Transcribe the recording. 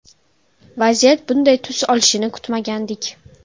Vaziyat bunday tus olishini kutmagandik.